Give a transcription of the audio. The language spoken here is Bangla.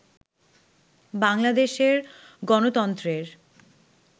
বাংলাদেশের গণতন্ত্রের